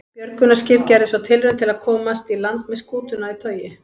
Björgunarskip gerði svo tilraun til að komast í land með skútuna í togi.